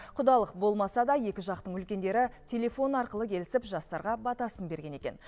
құдалық болмаса да екі жақтың үлкендері телефон арқылы келісіп жастарға батасын берген екен